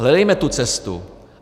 Hledejme tu cestu.